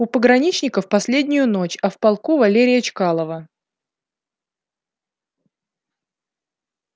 у пограничников последнюю ночь а в полку валерия чкалова